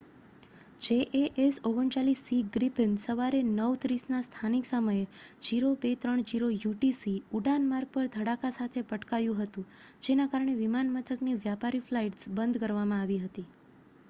jas 39c Gripen સવારે 9:30 ના સ્થાનિક સમયે 0230 યુટીસી ઉડાન-માર્ગ પર ધડાકા સાથે પટકાયું હતું જેના કારણે વિમાન મથકની વ્યાપારી ફ્લાઈટ્સ બંધ કરવામાં આવી હતી